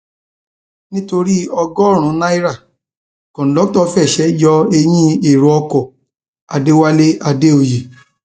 nítorí ọgọrùnún náírà kóńdókító fẹsẹ yọ eyín èrò ọkọ adéwálé àdèoyè